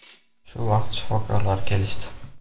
Shu vaqt shifokorlar kelishdi.